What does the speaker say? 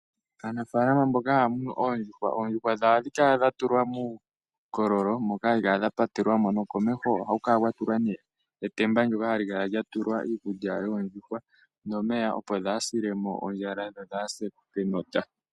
Aanafaalama mboka haya munu oondjuhwa, oondjuhwa dhawo ohadhi kala dha tulwa muukololo moka hadhi kala dha patelwa mo. Komeho ohaku kala kwa tulwa etemba ndyoka hali kala lya tulwa iikulya yoondjuhwa nomeya, opo kaadhi sile mo ondjala dho dhaa sile mo kenota.